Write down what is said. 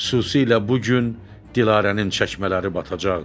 Xüsusilə bu gün Dilarənin çəkmələri batacaqdı.